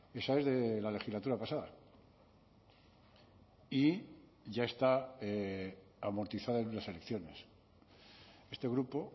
esa es de la legislatura pasada y ya está amortizada en unas elecciones este grupo